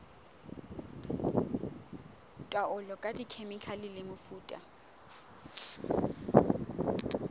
taolo ka dikhemikhale le mefuta